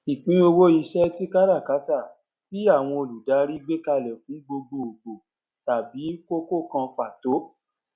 ìpín owó iṣẹ tí káràkátà tí àwọn olùdarí gbékalẹ fún gbogbo gbòò tàbí kókó kan pàtó